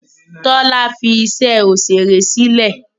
Tọ́lá fi iṣẹ́ òṣèré sílẹ̀.